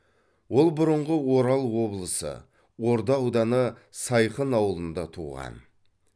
ол бұрынғы орал облысы орда ауданы сайхын ауылында туған